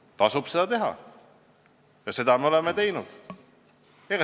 Neid tasub teha ja neid me oleme ka teinud.